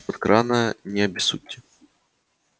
крана не обессудьте